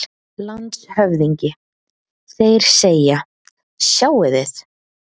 LANDSHÖFÐINGI: Þeir segja: Sjáið þið!